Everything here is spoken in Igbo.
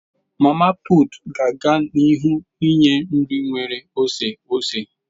Mama putu ga na-aga n'ihu ninye nri nwere oseose.